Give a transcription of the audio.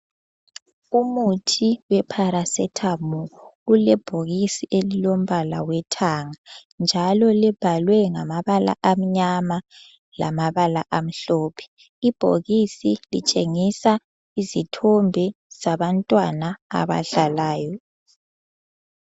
Umuthi weparacetamol ulebhokisi elilombala wethanga njalo libhalwe ngamabala amnyama lamabala amhlophe. Ibhokisi litshengisa izithombe zabantwana abadlalayo.